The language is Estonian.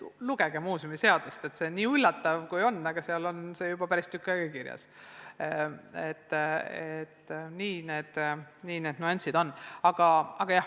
Lugege muuseumiseadust, see on nii üllatav, aga seal on see juba päris tükk aega kirjas.